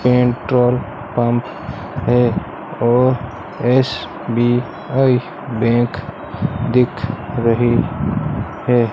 Petrol pump है और SBI bank दिख रही है।